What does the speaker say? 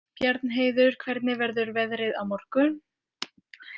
Bjarnheiður, hvernig verður veðrið á morgun?